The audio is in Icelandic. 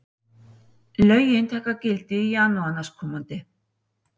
Lögin taka gildi í janúar næstkomandi